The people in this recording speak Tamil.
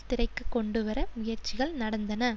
திரைக்கு கொண்டுவர முயற்சிகள் நடந்தன